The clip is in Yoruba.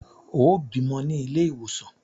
Ó bímọ ní ilé ìwòsàn!